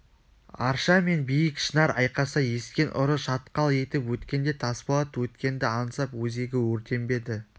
арша мен биік шынар айқаса ескен ұры шатқал етіп өткенде тасболат өткенді аңсап өзегі өртенбеді